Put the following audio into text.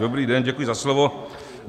Dobrý den, děkuji za slovo.